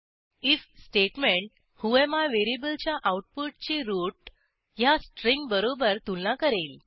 if statement whoami व्हेरिएबलच्या आऊटपुटची root ह्या स्ट्रिंगबरोबर तुलना करेल